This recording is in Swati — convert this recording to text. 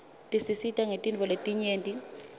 tisisita ngetintfo letinyeti